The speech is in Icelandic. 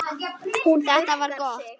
Þetta var gott.